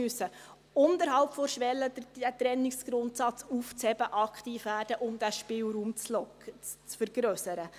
Wir müssen unterhalb der Schwelle, den Trennungsgrundsatz aufzuheben, aktiv werden, um den Spielraum zu vergrössern.